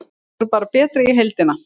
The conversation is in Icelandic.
Þær voru bara betri í heildina.